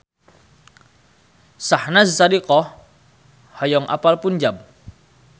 Syahnaz Sadiqah hoyong apal Punjab